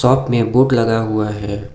Shop में board लगा हुआ है।